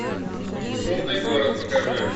шумный город покажи